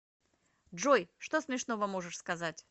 джой что смешного можешь сказать